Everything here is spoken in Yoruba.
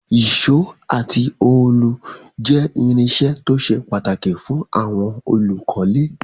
Ìsó àti òòlù je irinsẹ́ to se pàtàkì fún àwon olùkólé